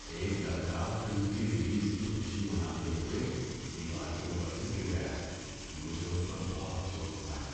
ایک لڑکا فلم کی ریلیز کی خوشی مناتے ہوئے دیوار کے اوپر سے گر گیا۔ مجھے اس پر بہت افسوس ہوتا ہے۔